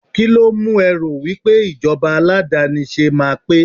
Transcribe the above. kilo mu e ro wipe ijoba aladanise ma pe